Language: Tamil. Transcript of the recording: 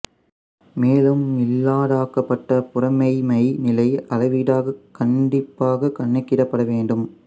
மேலும் இல்லாததாக்கப்பட்ட புறமெய்மை நிலை அளவீடாக கண்டிப்பாக கணக்கிடப்பட வேண்டும்